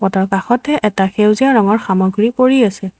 পথৰ কাষতে এটা সেউজীয়া ৰঙৰ সামগ্ৰী পৰি আছে।